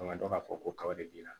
An ka dɔn ka fɔ ko kaba de b'i la